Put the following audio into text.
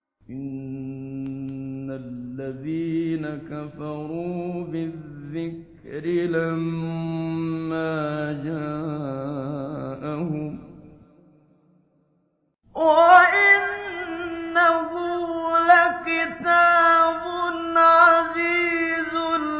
إِنَّ الَّذِينَ كَفَرُوا بِالذِّكْرِ لَمَّا جَاءَهُمْ ۖ وَإِنَّهُ لَكِتَابٌ عَزِيزٌ